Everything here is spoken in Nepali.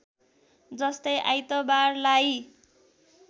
जस्तै आइतबारलाई